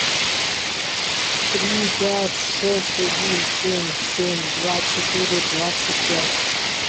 три пять шесть один семь семь два четыре двадцать пять